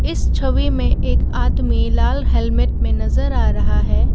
इस छवि मे एक आदमी लाल हेलमेट में नज़र आ रहा है।